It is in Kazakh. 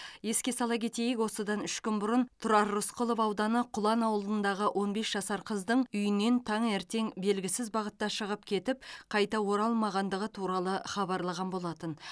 еске сала кетейік осыдан үш күн бұрын тұрар рысқұлов ауданы құлан ауылындағы он бес жасар қыздың үйінен таңертең белгісіз бағытта шығып кетіп қайта оралмағандығы туралы хабарлаған болатын